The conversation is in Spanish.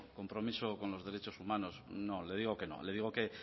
compromiso con los derechos humanos no le digo que no le digo que